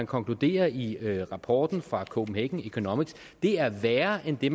konkluderes i rapporten fra copenhagen economics er værre end det